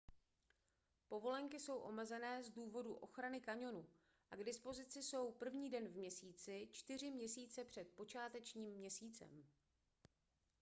povolenky jsou omezené z důvodu ochrany kaňonu a k dispozici jsou 1. den v měsíci čtyři měsíce před počátečním měsícem